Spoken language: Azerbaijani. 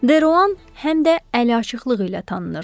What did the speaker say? Deruan həm də əliaçıqlığı ilə tanınırdı.